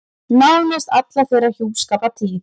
Nánast alla þeirra hjúskapartíð.